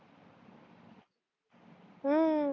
हु